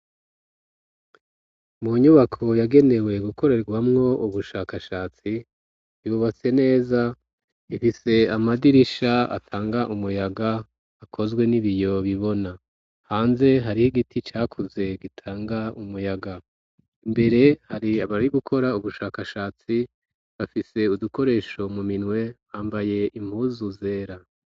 Mu nyubako, yagenewe gukorerwamwo ubushakashatsi ,yubatse neza ,ifise Amadirisha atanga umuyaga ,akozwe n'ibiyo bibona hanze, hari igiti cakuze gitanga umuyaga, imbere hari abari gukora ubushakashatsi bafise udukoresho mu minwe ,bambaye impuzu zera.